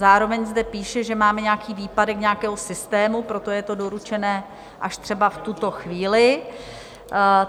Zároveň zde píše, že máme nějaký výpadek nějakého systému, proto je to doručené až třeba v tuto chvíli.